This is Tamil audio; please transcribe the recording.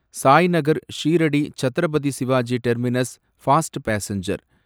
Sainagar Shirdi Chhatrapati Shivaji terminus fast passenger